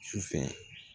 Su fɛ